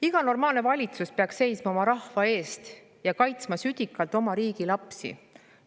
Iga normaalne valitsus peaks seisma oma rahva eest ja kaitsma südikalt oma riigi lapsi.